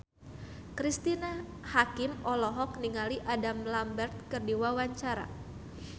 Cristine Hakim olohok ningali Adam Lambert keur diwawancara